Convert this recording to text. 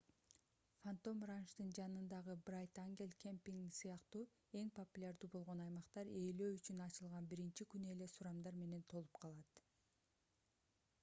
фантом ранчтын жанындагы брайт ангел кемпинги сыяктуу эң популярдуу болгон аймактар ээлөө үчүн ачылган биринчи күнү эле сурамдар менен толуп калат